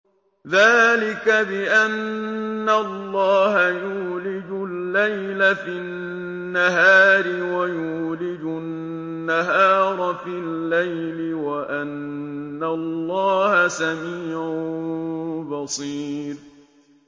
ذَٰلِكَ بِأَنَّ اللَّهَ يُولِجُ اللَّيْلَ فِي النَّهَارِ وَيُولِجُ النَّهَارَ فِي اللَّيْلِ وَأَنَّ اللَّهَ سَمِيعٌ بَصِيرٌ